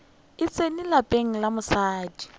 e tsene lapeng la mosadi